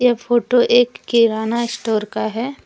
Photo एक kirana store का है।